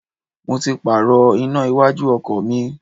Mo ti Pààrọ̀ iná iwájú ọkọ̀ mi